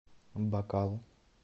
бакал